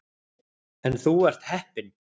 En þú ert heppinn.